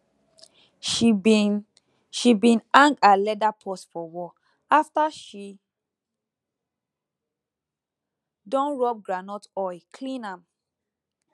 she bin she bin hang her leather purse for wall after she don rub groundnut oil clean am